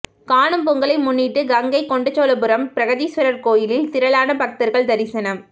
காணும் பொங்கலை முன்னிட்டு கங்கைகொண்டசோழபுரம் பிரகதீஸ்வரர் கோயிலில் திரளான பக்தர்கள் தரிசனம்